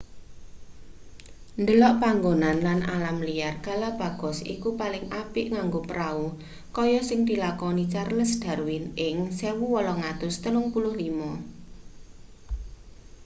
ndelok panggonan lan alam liar galapagos iku paling apik nganggo prau kaya sing dilakoni charles darwin ing 1835